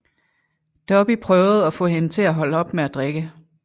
Dobby prøvede at få hende til at stoppe med at drikke